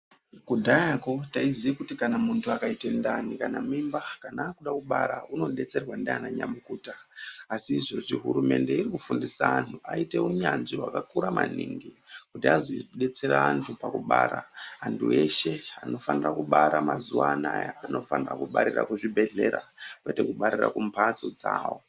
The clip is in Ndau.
Kudhara taiziva kuti muntu akaita ndani kana mimba anodetserwa nana nyamukuta asi izvezvi hurumende iri kufundisa vantu vaite hunyanzvi hwakakura maningi kuti azodetsera antu pakubara antu eshe anofana kubara nguva anawa vanofana kubarira kuzvibhedhlera kwete kubarira kumizi dzavo.